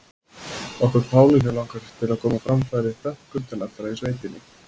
Okkur Pálínu langar að koma á framfæri þökkum til allra í sveitinni.